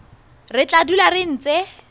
re tla dula re ntse